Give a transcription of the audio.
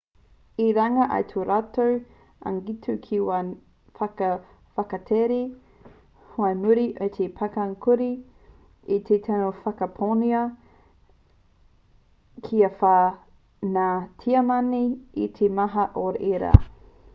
i runga i tō rātou angitu ki ngā waka whakatakere whai muri i te pakanga kāore i te tino whakaponohia kia whai ngā tiamani i te maha o ērā